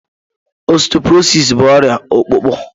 Ọsteọprọsịs bụ ọrịa ọkpụkpụ